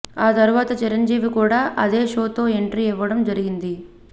ఆ తర్వాత చిరంజీవి కూడా అదే షోతో ఎంట్రీ ఇవ్వడం జరిగింది